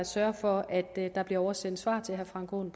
sørge for at der bliver oversendt svar til herre frank aaen